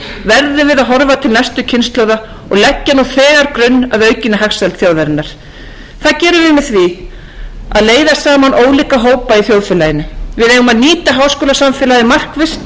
við að horfa til næstu kynslóða og gegna nú þegar grunn að aukinni hagsæld þjóðarinnar það gerum við með því að leiða saman ólíka hópa í þjóðfélaginu við eigum að nýta háskólasamfélagið markvisst og tefla því fram með atvinnulífinu og